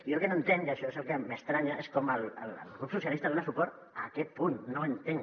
jo el que no entenc i això és el que m’estranya és com el grup socialistes dona suport a aquest punt no ho entenc